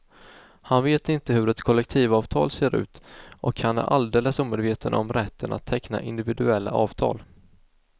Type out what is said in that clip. Han vet inte hur ett kollektivavtal ser ut och han är alldeles omedveten om rätten att teckna individuella avtal.